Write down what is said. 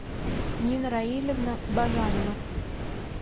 нина раилевна бажанова